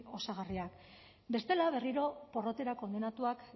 osagarriak bestela berriro porrotera kondenatuta